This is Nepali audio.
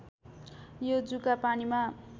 यो जुका पानीमा